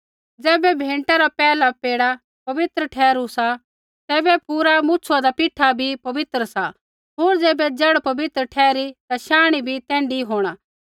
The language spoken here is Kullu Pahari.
ज़ैबै भेंटा रा पैहला पेड़ा पवित्र ठहरु तैबै पूरा मुछुआंदा पीठा भी पवित्र सा होर ज़ैबै जड़ पवित्र ठहरी ता शांणी भी तैण्ढी होंणा